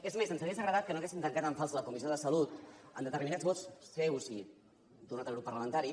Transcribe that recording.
és més ens hauria agradat que no haguessin tancat en fals la comissió de salut amb determinats vots seus i d’un altre grup parlamentari